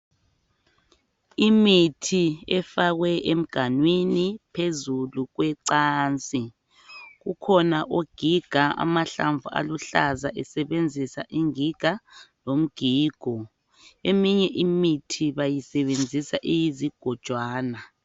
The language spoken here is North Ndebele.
Imithi efakwe emganwini phezulu kwecansi. Ukhona ogiga amahlamvu aluhlaza esebenzisa ingiga lomgigo. Eminye imithi bayisebenzisa iyizigojwana.